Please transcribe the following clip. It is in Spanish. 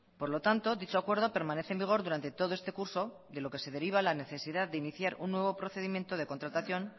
por lo tanto dicho acuerdo permanece en vigor durante todo este curso de lo que se deriva la necesidad de iniciar un nuevo procedimiento de contratación